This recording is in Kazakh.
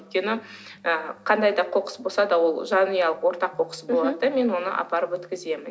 өйткені ы қандай да қоқыс болса да ол жанұялық ортақ қоқыс болады да мен оны апарып өткіземін